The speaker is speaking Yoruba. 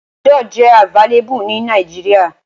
Panadol jẹ abvailable ni Nigeria